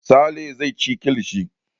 Sale zai ci kilishi.